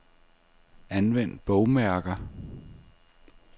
Anvend bogmærker.